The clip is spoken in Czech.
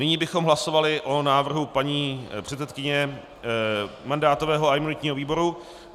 Nyní bychom hlasovali o návrhu paní předsedkyně mandátového a imunitního výboru.